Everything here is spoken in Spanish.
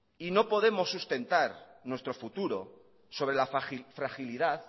no podemos sustentar nuestro futuro sobre la fragilidad